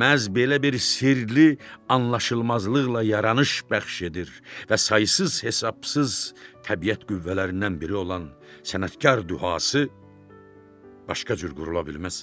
məhz belə bir sirli anlaşılmazlıqla yaranış bəxş edir və saysız-hesabsız təbiət qüvvələrindən biri olan sənətkar dühası başqa cür qurula bilməz.